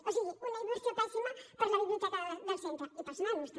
o sigui una inversió pèssima per a la biblioteca del centre i per als nanos també